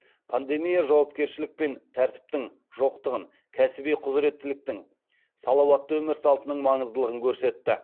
пандемия жауапкершілік пен тәртіптің жоқтығын кәсіби құзыреттіліктің салауатты өмір салтының маңыздылығын көрсетті